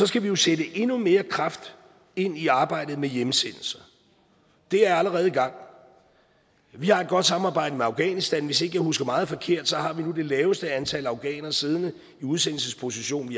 skal vi jo sætte endnu mere kraft ind i arbejdet med hjemsendelser det er allerede i gang vi har et godt samarbejde med afghanistan hvis ikke jeg husker meget forkert har vi nu det laveste antal afghanere siddende i udsendelsesposition vi